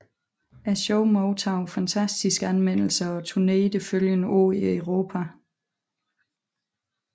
Showet modtog fantastiske anmeldelser og turnerede det følgende år i Europa